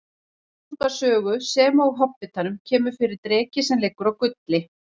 Í Völsunga sögu sem og Hobbitanum kemur fyrir dreki sem liggur á gulli.